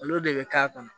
Olu de bɛ k'a kɔnɔ